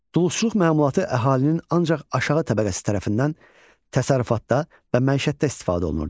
Duluzçuluq məmulatı əhalinin ancaq aşağı təbəqəsi tərəfindən təsərrüfatda və məişətdə istifadə olunurdu.